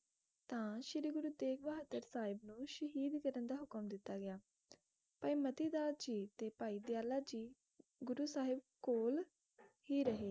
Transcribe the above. ਤਾ ਸ਼੍ਰੀ ਗੁਰੂ ਤੇਗ਼ ਬਹਾਦਰ ਸਾਹਿਬ ਨੂੰ ਸ਼ਹੀਦ ਕਰਨ ਦਾ ਹੁਕਮ ਦਿੱਤਾ ਗਿਆ ਭਾਈ ਮਤੀ ਦਾਸ ਜੀ ਤੇ ਭਾਈ ਦਯਾਲਾ ਜੀ ਗੁਰੂ ਸਾਹਿਬ ਕੋਲ ਹੀ ਰਹੇ